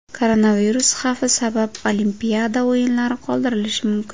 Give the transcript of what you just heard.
Koronavirus xavfi sabab Olimpiada o‘yinlari qoldirilishi mumkin.